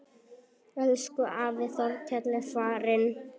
Elsku afi Þorkell er farinn.